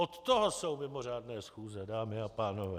Od toho jsou mimořádné schůze, dámy a pánové.